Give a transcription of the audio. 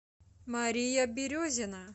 мария березина